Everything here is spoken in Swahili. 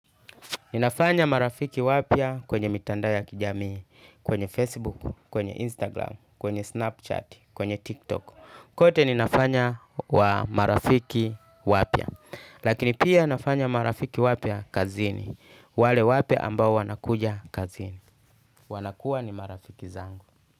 Ninafanya marafiki wapya kwenye mitandao ya kijamii, kwenye Facebook, kwenye Instagram, kwenye Snapchat, kwenye TikTok. Kote ninafanya wa marafiki wapya. Lakini pia nafanya marafiki wapya kazini. Wale wapya ambao wanakuja kazini. Wanakuwa ni marafiki zangu.